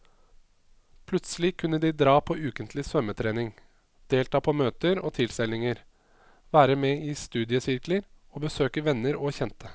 Plutselig kunne de dra på ukentlig svømmetrening, delta på møter og tilstelninger, være med i studiesirkler og besøke venner og kjente.